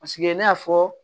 Paseke ne y'a fɔ